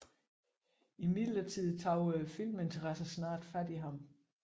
Imidlertid tog filminteressen snart fat i ham